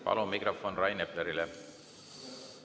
Palun mikrofon Rain Eplerile!